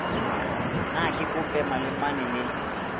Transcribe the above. na ke kope malemane le